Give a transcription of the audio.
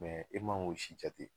i man k'o si jate.